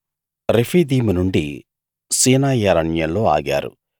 రెఫీదీము నుండి సీనాయి అరణ్యంలో ఆగారు